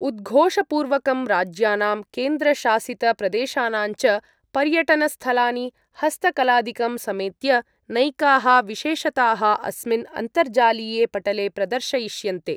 उद्घोषपूर्वकं राज्यानां केन्द्रशासितप्रदेशानाञ्च पर्यटनस्थलानि हस्तकलादिकं समेत्य नैकाः विशेषताः अस्मिन् अन्तर्जालीये पटले प्रदर्शयिष्यन्ते।